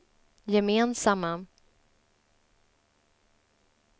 gemensamma